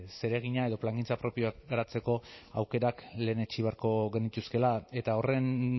zeregina edo plangintza propioa garatzeko aukerak lehenetsi beharko genituzkeela eta horren